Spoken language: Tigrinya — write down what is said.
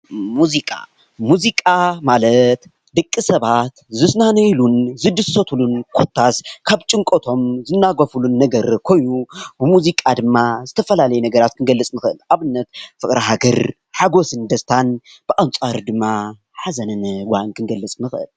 ሙዚቃ፡- ሙዚቃ ማለት ደቂ ሰባት ዝናነዩሉን ዝድሰትሉን ኮታስ ካብ ጭንቀቶም ዝናገፍሉ ነገር ኮይኑ ብሙዚቃ ድማ ዝተፈላለዩ ነገራት ክንገልፅ ንክእል፡፡ ኣብነት ፍቅሪ ሃገር፣ ሓጎስን ዳስታን ብኣንፃሩ ድማ ሓዘንን ጓሂን ክንገልፅ ንክእል፡፡